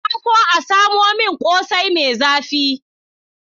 Na so a samo min ƙosai mai zafi